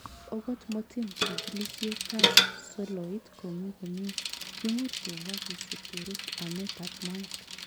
Ogot motin chikilisietab soloito komi komie, kimuch kemwa kisib kerut ametab moet.